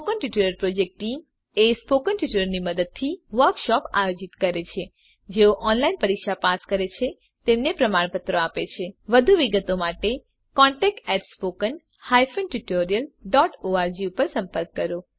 spoken tutorial project team spoken ટ્યુટોરીયલોનાં મદદથી વર્કશોપોનું આયોજન કરે છે જેઓ ઓનલાઈન પરીક્ષા પાસ કરે છે તેમને પ્રમાણપત્રો આપે છે વધુ વિગત માટે કૃપા કરી contactspoken tutorialorg પર સંપર્ક કરો